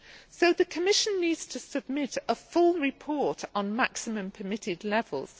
So the Commission needs to submit a full report on maximum permitted levels.